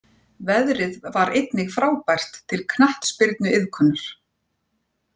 Veðrið var einnig frábært til knattspyrnuiðkunar.